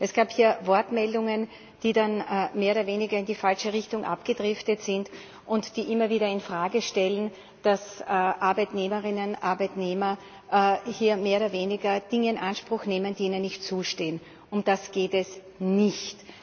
Es gab hier Wortmeldungen, die dann mehr oder weniger in die falsche Richtung abgedriftet sind und die immer wieder in Frage stellen, dass Arbeitnehmerinnen und Arbeitnehmer hier mehr oder weniger Dinge in Anspruch nehmen, die ihnen nicht zustehen. Um das geht es nicht.